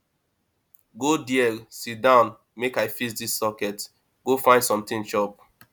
go there sit down make i fix dis socket go find something chop